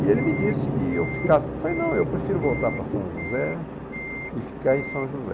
E ele me disse que ia ficar, eu falei, não eu prefiro voltar para São José e ficar em São José e ficar em São José